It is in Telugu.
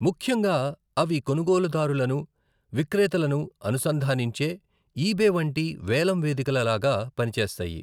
ముఖ్యంగా, అవి కొనుగోలుదారులను, విక్రేతలను అనుసంధానించే ఈబే వంటి వేలం వేదికల లాగా పనిచేస్తాయి.